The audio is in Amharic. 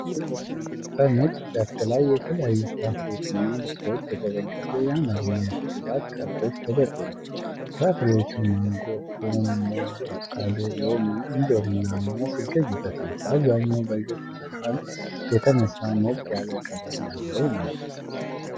በሣር ሜዳ ላይ በተነጠፈ ነጭ ጨርቅ ላይ የተለያዩ ፍራፍሬዎችና በሥዕሎች የተደገፉ የአማርኛ ፊደላት ካርዶች ተደርድረዋል። ፍራፍሬዎቹ ማንጎ፣ ፖም፣ ሙዝ፣ አቮካዶ፣ ሎሚ፣ እንጆሪና አናናስ ይገኙበታል። በአብዛኛው በግልጽ ብርሃን የተነሳ ሞቅ ያለ ቀለም ያለው ነው።